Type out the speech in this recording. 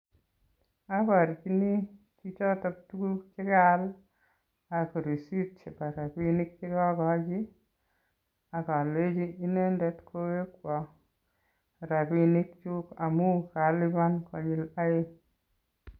Aporchini chichoto tukuk chekaal, asir risit chepo rapinik chekokochi akolenchi inendet kowekwon rapinikyuk amun kalipan konyil aeng.